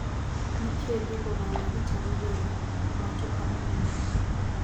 nĩ kĩĩ thogora wa gĩtarũ gĩa mũatuka mũnene